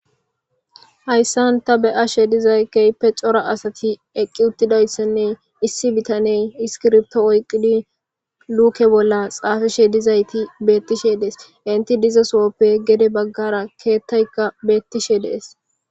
Hayssan ta be'she dizay keype cora asati eqqi uttidayssenne issi bitaney iskirbto oyqqidi luuke bolla xaafishe dizayti beettishe dees inti dizasooppe gede baggara keettaykka beettishe dees.